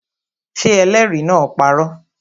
Ṣé ẹlẹ́rìí náà parọ́?